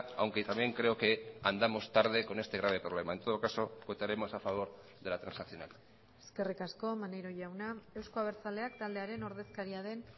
aunque también creo que andamos tarde con este grave problema en todo caso votaremos a favor de la transaccional eskerrik asko maneiro jauna euzko abertzaleak taldearen ordezkaria den